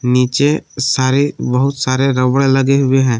नीचे सारे बहुत सारे रबड़ लगे हुए है।